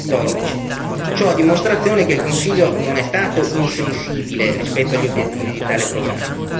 2014. Ciò a dimostrazione che il Consiglio non è stato insensibile rispetto agli obiettivi di tale programma.